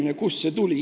–, et kust see tuli.